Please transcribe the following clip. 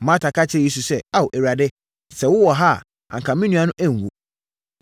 Marta ka kyerɛɛ Yesu sɛ, “Ao, Awurade, sɛ wowɔ ha a, anka me nua no anwu!